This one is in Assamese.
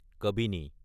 কাবিনী